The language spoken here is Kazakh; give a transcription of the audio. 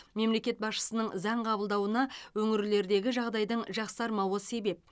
мемлекет басшысының заң қабылдауына өңірлердегі жағдайдың жақсармауы себеп